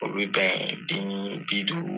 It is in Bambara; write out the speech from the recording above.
O bɛ bɛn den bi duuru.